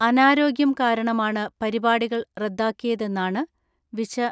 അനാരോഗ്യം കാരണമാണ് പരിപാടികൾ റദ്ദാക്കിയതെന്നാണ് വിശ